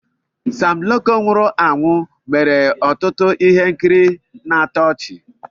Sam Loco nwụrụ anwụ mere ọtụtụ ihe nkiri na-atọ ọchi.